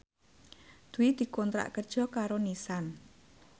Dwi dikontrak kerja karo Nissan